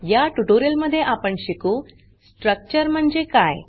या ट्यूटोरियल मध्ये आपण शिकू स्ट्रक्चर म्हणजे काय